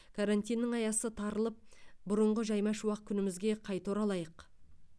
карантиннің аясы тарылып бұрыңғы жайма шуақ күнімізге қайта оралайық